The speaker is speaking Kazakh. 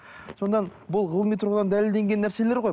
сонда бұл ғылыми тұрғыдан дәлелденген нәрселер ғой